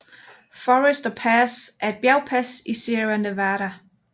Forester Pass er et bjergpas i Sierra Nevada